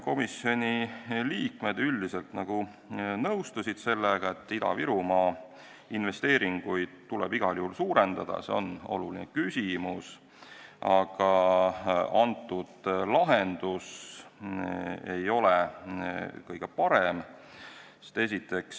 Komisjoni liikmed üldiselt nõustusid sellega, et Ida-Virumaa investeeringuid tuleb igal juhul suurendada, see on oluline küsimus, aga antud lahendus ei ole kõige parem.